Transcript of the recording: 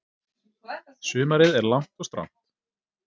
Sumarið er langt og strangt.